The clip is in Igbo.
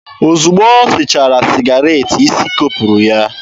Ozugbo o sechara sịgaret, isi kopụrụ ya.